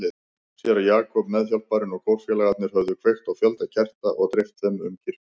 Séra Jakob, meðhjálparinn og kórfélagarnir höfðu kveikt á fjölda kerta og dreift þeim um kirkjuna.